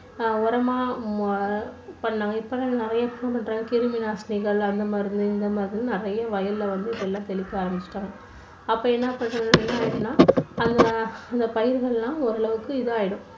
ஆஹ் உரமா மா~பண்ணாங்க. இப்போன்னா என்னன்னா நிறைய பேர் வந்து கிருமி நாசினிகள் அந்த மருந்து இந்த மருந்து நிறைய வயல்ல வந்து எல்லாம் தெளிக்க ஆரம்பிச்சுட்டாங்க. அப்போ என்ன பண்ணும்னா அந்த பயிர்கள் எல்லாம் ஓரளவுக்கு இதாயிடும்.